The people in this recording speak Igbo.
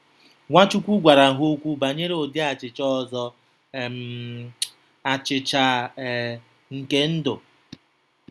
Nwachukwu gwara ha okwu banyere ụdị achịcha ọzọ - um “achịcha um nke ndụ.”